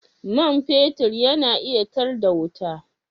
Man fetur yana iya tar da wuta?